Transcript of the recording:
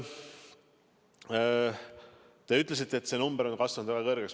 Te ütlesite, et see number on kasvanud väga suureks.